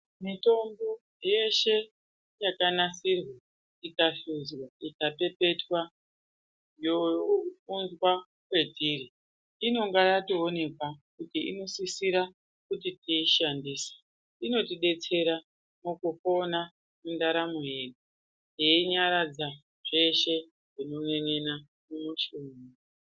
Mitombo yeshe yakanasirwa ikahluzwa ikapepetwa younzwa kwetiri inonga yatoonekwa kuti inosisira kuti tiishandise inotidetsera mukupona mundaramo yedu yeinyaradza zveshe zvino n'en'ena mumushuna.